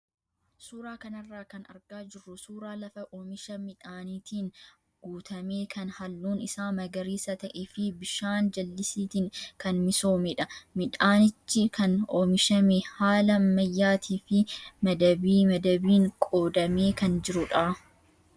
Suuraa kanarraa kan argaa jirru suuraa lafa oomisha midhaaniitiin guutame kan halluun isaa magariisa ta'ee fi bishaan jallisiitiin kan misoomedha. Midhaanichi kan oomishame haala ammayyaatii fi madabii madabiin qoodamee kan jirudha.